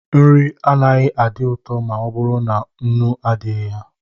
Nri agaghị adị ụtọ ma ọ bụrụ na nnu adịghị ya.